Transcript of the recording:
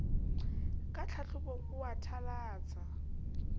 ka hlahlobong o a thalatsa